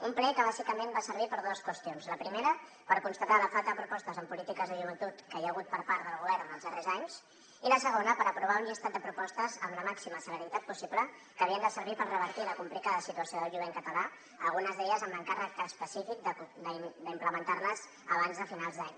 un ple que bàsicament va servir per a dues qüestions la primera per constatar la falta de propostes en polítiques de joventut que hi ha hagut per part del govern en els darrers anys i la segona per aprovar un llistat de propostes amb la màxima celeritat possible que havien de servir per revertir la complicada situació del jovent català algunes d’elles amb l’encàrrec específic d’implementar les abans de finals d’any